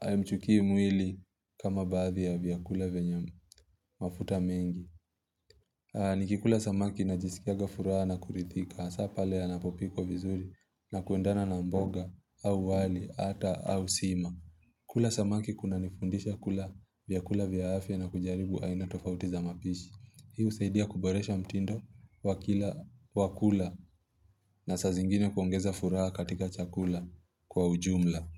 haimchukii mwili kama baadhi ya vyakula vyenye mafuta mengi. Nikikula samaki najisikianga furaha na kurithika, hasa pale yanapopikwa vizuri na kuendana na mboga au wali ata au sima. Kula samaki kunanifundisha kula vyakula vya afya na kujaribu aina tofauti za mapishi. Hii husaidia kuboresha mtindo wa kila wa kula na saa zingine huongeza furaha katika chakula kwa ujumla.